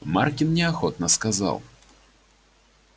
маркин неохотно сказал